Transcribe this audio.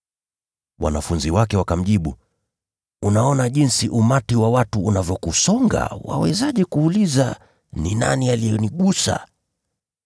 Wanafunzi wake wakamjibu, “Unaona jinsi umati wa watu unavyokusonga. Wawezaje kuuliza, ‘Ni nani aliyenigusa?’ ”